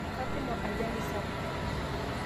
Katumo ajali sapuk